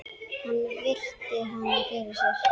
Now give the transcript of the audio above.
Hann virti hana fyrir sér.